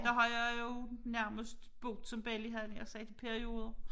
Der har jeg jo nærmest boet som belli havde jeg nær sagt i perioder